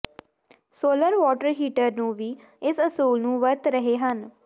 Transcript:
solar water heater ਨੂੰ ਵੀ ਇਸ ਅਸੂਲ ਨੂੰ ਵਰਤ ਰਹੇ ਹਨ